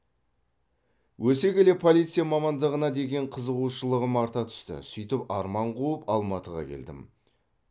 өсе келе полиция мамандығына деген қызығушылығым арта түсті сөйтіп арман қуып алматыға келдім